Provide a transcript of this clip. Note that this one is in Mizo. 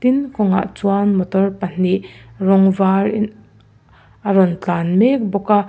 tin kawngah chuan motor pahnih rawng var a rawn tlan mek bawk a.